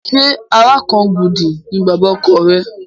Ṣé Àràkangúdù ni bàbá ọkọ rẹ?